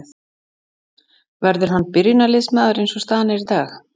Verður hann byrjunarliðsmaður eins og staðan er í dag?